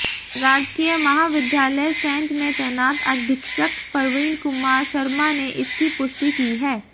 राजकीय महाविद्यालय सैंज में तैनात अधीक्षक प्रवीण कुमार शर्मा ने इसकी पुष्टि की है